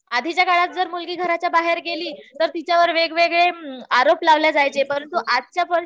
आधीच्या काळात जर मुलगी घराच्या बाहेर गेली तर वेगवेगळे आरोप लावले जायचे. परंतु आजच्या